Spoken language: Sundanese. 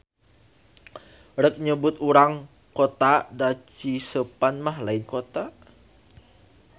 Rek nyebut urang kota da Ciseupan mah lain kota.